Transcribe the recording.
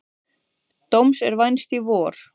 Dóms er vænst í vor.